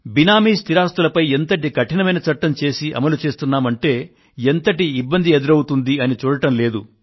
బేనామీ స్థిరాస్తులపై ఎంతటి కఠినమైన చట్టం చేసి అమలుపరుస్తున్నామంటే ఎంతటి ఇబ్బంది ఎదురవుతుందని చూడడం లేదు